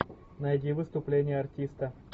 найди выступление артиста